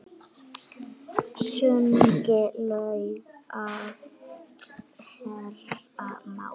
Sungin lög oft heyra má.